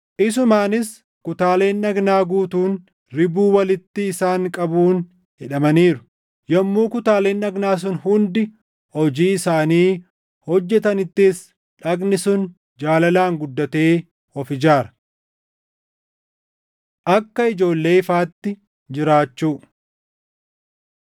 Isumaanis kutaaleen dhagnaa guutuun ribuu walitti isaan qabuun hidhamaniiru; yommuu kutaaleen dhagnaa sun hundi hojii isaanii hojjetanittis dhagni sun jaalalaan guddatee of ijaara. Akka Ijoollee Ifaatti Jiraachuu